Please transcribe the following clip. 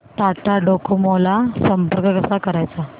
Tata Docomo ला संपर्क कसा करायचा